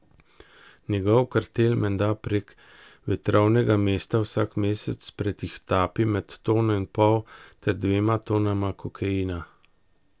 Njegov kartel menda prek Vetrovnega mesta vsak mesec pretihotapi med tono in pol ter dvema tonama kokaina.